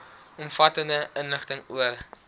omvattende inligting oor